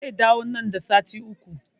Zai dawo nan da sati Uku